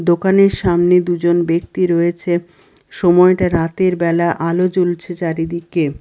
দোকানের সামনে দুজন ব্যক্তি রয়েছে সময়টা রাতের বেলা আলো জ্বলছে চারিদিকে।